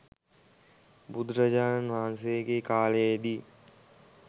බුදුරජාණන් වහන්සේගේ කාලයේ දී